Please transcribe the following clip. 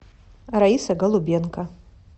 раиса голубенко